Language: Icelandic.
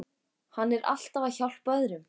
Hann er alltaf að hjálpa öðrum.